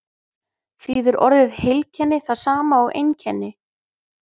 þýðir orðið heilkenni það sama og einkenni